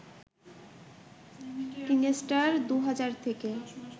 কিংস্টার ২ হাজার থেকে